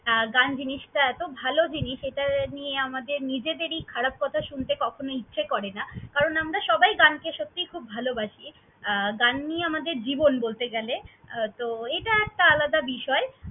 গান জিনিসটা এতো ভালো জিনিস এটা নিয়ে আমাদের নিজেদেরই খারাপ কথা শুনতে কখনো ইচ্ছে করে না। কারণ আমরা সবাই গানকে সত্যিই খুব ভালবাসি। গান নিয়ে আমাদের জীবন বলতে গেলে তো এত একটা আলাদা বিষয়।